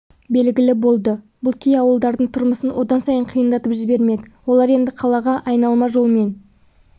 белгілі болды бұл кей ауылдардың тұрмысын одан сайын қиындатып жібермек олар енді қалаға айналма жолмен